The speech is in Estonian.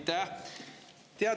Aitäh!